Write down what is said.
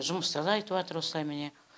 жұмыста да айтыватыр осылай міне